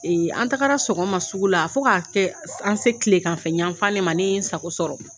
an tagara sɔgɔma sugu la fɔ ka kɛ an se tilegan fɛ yan fan de ma, ne ye n sago sɔrɔ.